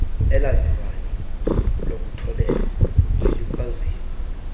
elaziwayo lokuthobela nelikwaziyo